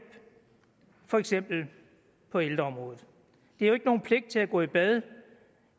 for eksempel på ældreområdet det er jo ikke nogen pligt til at gå i bad